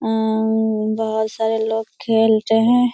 उम्म बहुत सारे लोग खेल रहें --